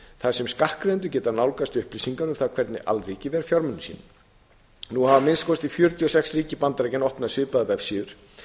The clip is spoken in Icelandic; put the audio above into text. þar sem skattgreiðendur geta nálgast upplýsingar um það hvernig alríkið ver fjármunum sínum nú hafa að minnsta kosti fjörutíu og sex ríki bandaríkjanna opnað svipaðar vefsíður